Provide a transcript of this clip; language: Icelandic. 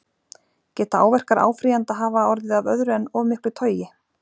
Geta áverkar áfrýjanda hafa orðið af öðru en of miklu togi?